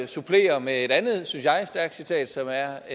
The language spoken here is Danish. supplere med et andet synes jeg stærkt citat som er